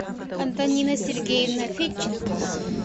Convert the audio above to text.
антонина сергеевна федченко